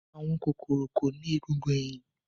Àwọn kòkòrò kò ní egungun ẹ̀yìn.